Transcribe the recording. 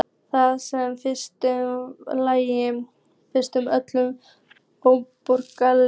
Það sem einum finnst í lagi finnst öðrum ómögulegt.